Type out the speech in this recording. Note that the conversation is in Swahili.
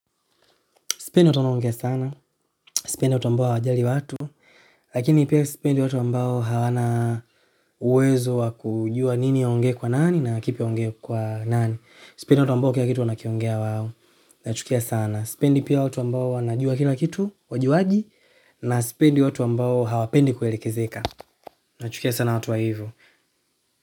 Sipendi watu wanaongea sana sipendi watu ambao hawajali watu, lakini pia sipendi watu ambao hawana uwezo wa kujua nini aonge kwa nani na kipi ya aonge kwa nani. Sipendi watu ambao kila kitu wana kiongea wao, na chukia sana. Sipendi pia watu ambao wanajua kila kitu, wajuaji, na sipendi watu ambao hawapendi kuelekezeka. Na chukia sana watu wa wivu.